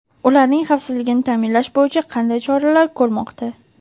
ularning xavfsizligini ta’minlash bo‘yicha qanday choralar ko‘rmoqda?.